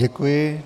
Děkuji.